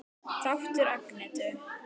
Þáttur Agnetu